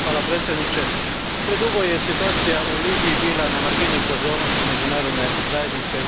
Gospodine predsjedniče, predugo je situacija u Libiji bila na margini pozornosti međunarodne zajednice.